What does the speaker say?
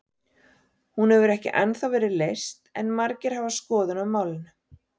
Hún hefur ekki ennþá verið leyst en margir hafa skoðun á málinu.